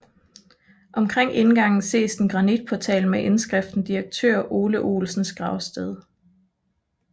Omkring indgangen ses en granitportal med indskriften Direktør Ole Olsens Gravsted